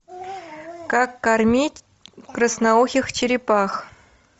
как кормить красноухих черепах